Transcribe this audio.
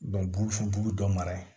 burufu bu bu dɔ mara yen